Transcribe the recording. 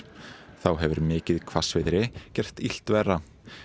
þá hefur mikið hvassviðri gert illt verra